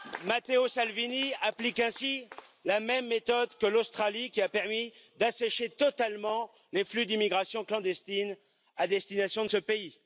Matteo Salvini applique ainsi la même méthode que l'Australie qui a permis d'assécher totalement les flux d'immigration clandestine à destination de ce pays.